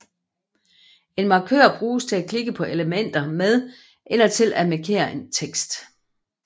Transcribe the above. En markør bruges til at klikke på elementer med eller til at markere tekst